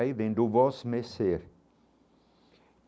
Aí vem do vosmecê.